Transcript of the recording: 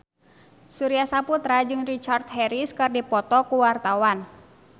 Surya Saputra jeung Richard Harris keur dipoto ku wartawan